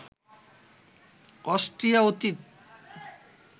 Austria অতীতে